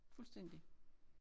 Fuldstændig